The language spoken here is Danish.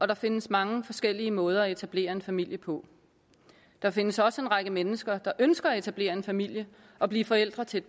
der findes mange forskellige måder at etablere en familie på der findes også en række mennesker der ønsker at etablere en familie og blive forældre til